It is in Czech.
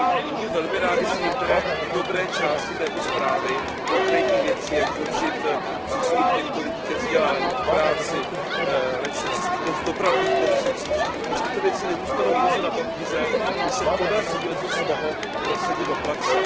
Budu velmi rád, když se některé dobré části této zprávy, konkrétní věci, jak zlepšit přístup těchto lidí ke vzdělání, k práci, lepší přístupnost v dopravních prostředcích, když tyto věci nezůstanou pouze na papíře a když se podaří leccos z toho prosadit do praxe.